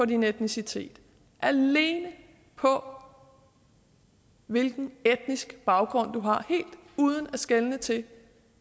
din etnicitet alene på hvilken etnisk baggrund du har helt uden at skelne til